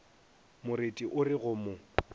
moreti o re go mo